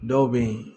Dɔw bɛ yen